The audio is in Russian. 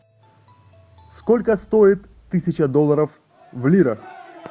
сколько стоит тысяча долларов в лирах